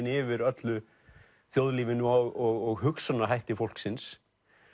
yfir öllu þjóðlífinu og hugsunarhætti fólksins